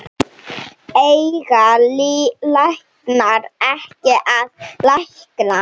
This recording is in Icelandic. Eiga læknar ekki að lækna?